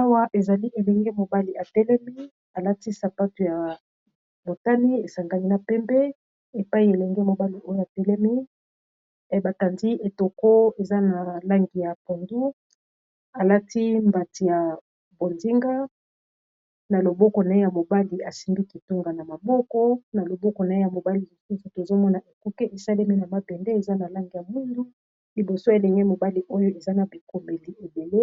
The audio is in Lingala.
awa ezali elenge mobali atelemi alati sapato ya motani esangani na pembe epai elenge mobali oyo a telemi ebakandi etoko eza na langi ya pondu alati mbati ya bondinga na loboko na ye ya mobali asimgi kitunga na maboko na loboko na ye ya mobali yosusu tozomona ekuke esalemi na mapende eza na langi ya mwindu liboso elenge mobali oyo eza na bikobeli ebele